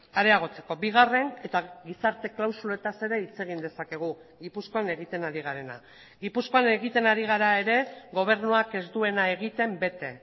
areagotzeko bigarren eta gizarte klausuletaz ere hitz egin dezakegu gipuzkoan egiten ari garena gipuzkoan egiten ari gara ere gobernuak ez duena egiten bete